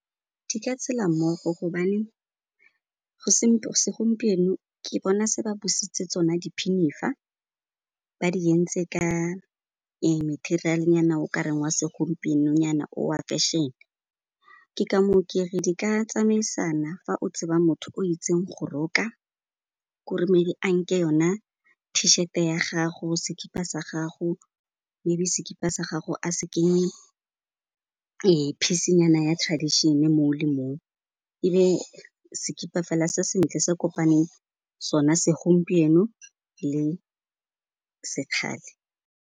Di ka tshela mmogo gobane segompieno ke bona se ba busetse tsona diphinifa ba di entse ka ee, material-nyana okareng wa segompieno-nyana o wa fashion, ke ka moo kere di ka tsamaisana fa o tseba motho o itseng go roka k'ore maybe a nke yona t-shirt-e ya gago, sekipa sa gago, maybe sekipa sa gago a se kenye ee, phisinyana ya tradition-e moo le moo, ebe sekipa fela se sentle, se kopaneng sona segompieno le sekgale.